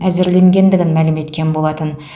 әзірленгендігін мәлім еткен болатын